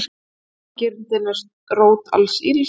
Ágirndin er rót alls ills.